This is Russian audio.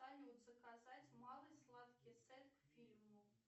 салют заказать малый сладкий сет к фильму